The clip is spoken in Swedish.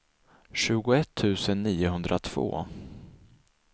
tjugoett tusen niohundratvå